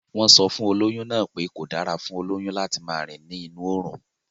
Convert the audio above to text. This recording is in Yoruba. Wọ́n sọ fún olóyún náà pé kọ̀ dára fún olóyún láti máa rìn ní inú òrùn